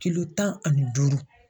Kilo tan ani duuru.